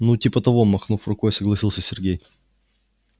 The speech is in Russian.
ну типа того махнув рукой согласился сергей